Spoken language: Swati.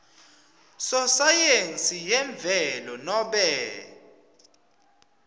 sosayensi yemvelo nobe